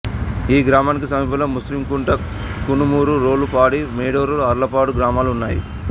ఈ గ్రామానికి సమీపంలో ముస్తికుంట్ల కనుమూరు రోలుపాడి మేడూరు అర్లపాడు గ్రామాలు ఉన్నాయి